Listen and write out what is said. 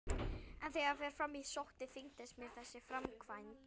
En þegar fram í sótti þyngdist mér þessi framkvæmd.